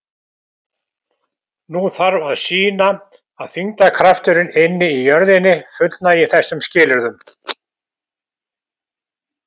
Nú þarf að sýna að þyngdarkrafturinn inni í jörðinni fullnægi þessum skilyrðum.